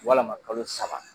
Walama kalo saba